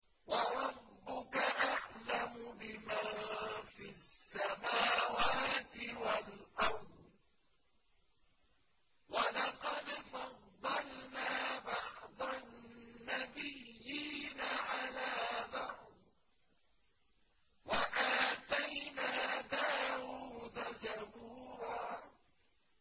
وَرَبُّكَ أَعْلَمُ بِمَن فِي السَّمَاوَاتِ وَالْأَرْضِ ۗ وَلَقَدْ فَضَّلْنَا بَعْضَ النَّبِيِّينَ عَلَىٰ بَعْضٍ ۖ وَآتَيْنَا دَاوُودَ زَبُورًا